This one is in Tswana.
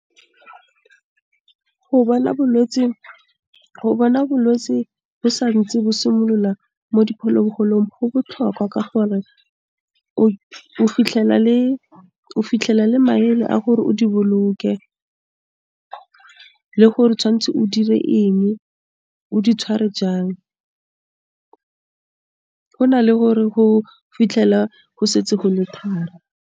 go bona bolwetsi bo santse bo simolola, mo diphologolong go botlhokwa ka gore, o fitlhela le maele a gore o di boloke le gore tshwanetse o dire eng, o di tshware jang, ho na le hore ho fitlhela go setse go le thari.